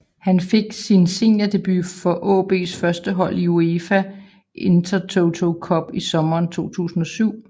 Han fik sin seniordebut for AaBs førstehold i UEFA Intertoto Cup i sommeren 2007